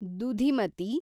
Dudhimati